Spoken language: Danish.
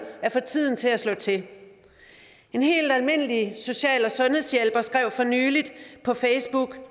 at få tiden til at slå til en helt almindelig social og sundhedshjælper skrev for nylig på facebook